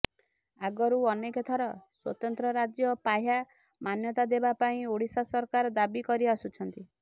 ଆଗରୁ ଅନେକ ଥର ସ୍ୱତନ୍ତ୍ର ରାଜ୍ୟ ପାହ୍ୟା ମାନ୍ୟତା ଦେବା ପାଇଁ ଓଡ଼ିଶା ସରକାର ଦାବି କରିଆସୁଛନ୍ତି